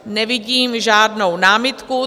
Nevidím žádnou námitku.